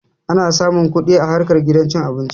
Ana samun kuɗi a harkar gidan cin abinci